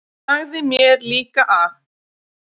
Hann sagði mér líka að